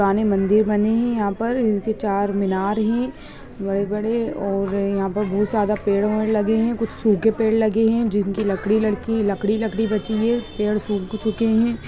पुराने मंदिर बने है यहाँ पर चार मीनार है बड़े-बड़े और यहाँ पर बहुत ज्यादा पेड़-वेर लगे है कुछ सूखे पेड़ लगे है जिनकी लकड़ी-लकड़ी लकड़ी-लकड़ी बची है पेड़ सुख चुके है।